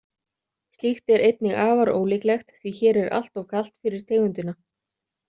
Slíkt er einnig afar ólíklegt því hér er alltof kalt fyrir tegundina.